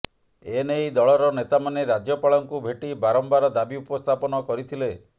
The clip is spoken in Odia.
ଏ ନେଇ ଦଳର ନେତାମାନେ ରାଜ୍ୟପାଳଙ୍କୁ ଭେଟି ବାରମ୍ବାର ଦାବି ଉପସ୍ଥାପନ କରିଥିଲେ